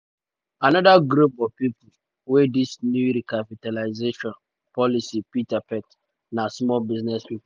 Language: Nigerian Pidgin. anoda group of pipo um wey dis new recapitalisation um policy fit affect na small business pipo.